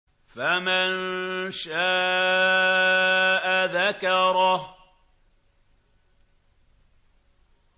فَمَن شَاءَ ذَكَرَهُ